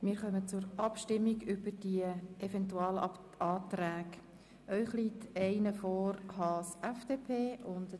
Wir kommen zur Abstimmung über die Eventualanträge Haas/FDP und Köpfli/glp.